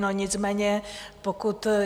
No, nicméně pokud...